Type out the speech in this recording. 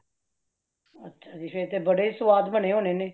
ਅੱਛਾ ਜੀ ਫੇਰ ਤੇ ਬੜੇ ਸੰਵਾਦ ਬਣੇ ਹੋਣੇ ਨੇ